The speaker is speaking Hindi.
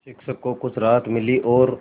शिक्षक को कुछ राहत मिली और